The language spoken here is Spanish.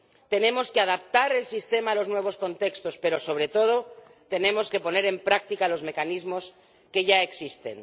Tenemos que adaptar el sistema a los nuevos contextos pero, sobre todo, tenemos que poner en práctica los mecanismos que ya existen.